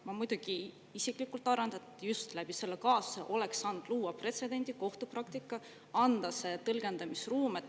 Ma muidugi isiklikult arvan, et just läbi selle kaasuse oleks saanud luua pretsedendi, kohtupraktika, anda see tõlgendamisruum.